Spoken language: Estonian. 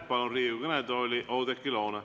Palun Riigikogu kõnetooli Oudekki Loone.